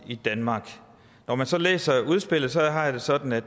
i danmark når man så læser udspillet har jeg det sådan at